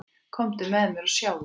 Komdu með mér og sjáðu.